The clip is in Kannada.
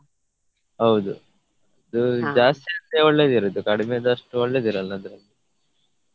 ಹೌದು ಅದು ಜಾಸ್ತಿ ಆದ್ರೆ ಒಳ್ಳೆದಿರುದು ಕಡಿಮೆದಷ್ಟು ಒಳ್ಳೆದಿರಲ್ಲ ಅದು.